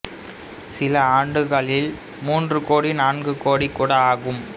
சில ஆண்டுகளில் மூன்று கோடி நான்கு கோடி கூட ஆகும்